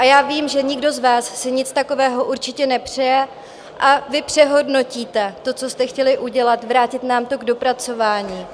A já vím, že nikdo z vás si nic takového určitě nepřeje, a vy přehodnotíte to, co jste chtěli udělat, vrátit nám to k dopracování.